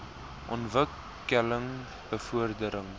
ontwik keling bevordering